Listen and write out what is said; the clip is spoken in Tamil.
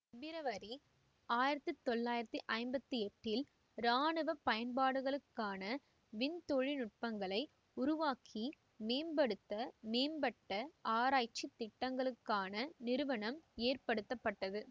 பிப்ரவரி ஆயிரத்தி தொள்ளாயிரத்தி ஐம்பத்தி எட்டில் இராணுவ பயன்பாடுகளுக்கான விண் தொழில்நுட்பங்களை உருவாக்கி மேம்படுத்த மேம்பட்ட ஆராய்ச்சித் திட்டங்களுக்கான நிறுவனம் ஏற்படுத்தப்பட்டது